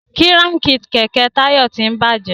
Kíráǹkì kẹ̀kẹ́ Tayo tín bàjé